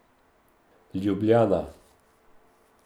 Ljubljana.